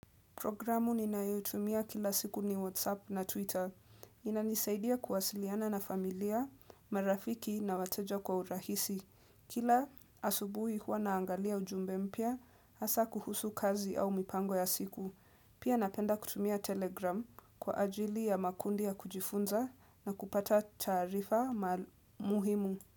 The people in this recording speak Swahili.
Programu ninayo itumia kila siku ni WhatsApp na Twitter. Inanisaidia kuwasiliana na familia, marafiki na wateja kwa urahisi. Kila asubuhi huwa naangalia ujumbe mpya, hasa kuhusu kazi au mipango ya siku. Pia napenda kutumia Telegram kwa ajili ya makundi ya kujifunza na kupata taarifa ma muhimu.